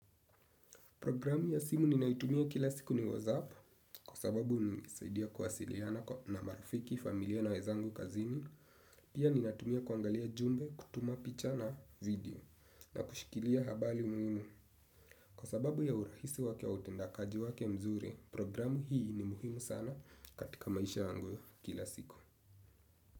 Programu ya simu ninaitumia kila siku ni WhatsApp kwa sababu inanisaidia kuwasiliana na marafiki, familia na wenzangu kazini. Pia ninatumia kuangalia jumbe, kutuma picha na video na kushikilia habari muhimu. Kwa sababu ya urahisi wake wa utendakaji wake mzuri, programu hii ni muhimu sana katika maisha yangu ya kila siku.